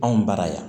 Anw bara yan